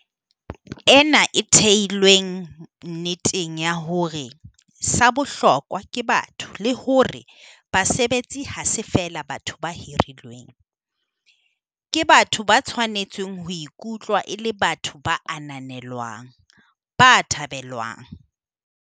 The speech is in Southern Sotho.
Ena ke e theilweng nneteng ya hore sa bohlokwa ke batho le hore basebetsi ha se feela batho ba hirilweng - ke batho ba tshwanetseng ho ikutlwa e le batho ba ananelwang, ba thabelwang.